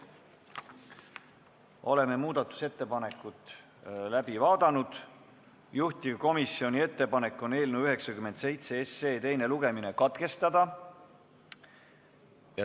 Oleme muudatusettepanekud läbi vaadanud, juhtivkomisjoni ettepanek on eelnõu 97 teine lugemine katkestada.